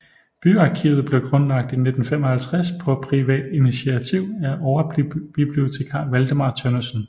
Byarkivet blev grundlagt i 1955 på privat initiativ af overbibliotekar Valdemar Tønnesen